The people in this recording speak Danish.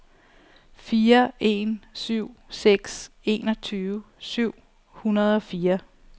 fire en syv seks enogtyve syv hundrede og fire